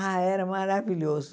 Ah, era maravilhoso.